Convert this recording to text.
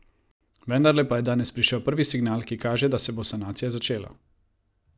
Vendarle pa je danes prišel prvi signal, ki kaže, da se bo sanacija začela.